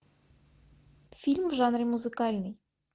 фильм в жанре музыкальный